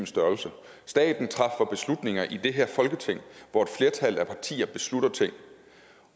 størrelse staten træffer beslutninger i det her folketing hvor et flertal af partier beslutter ting